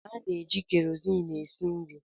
Ana-eji keroziin esi nri.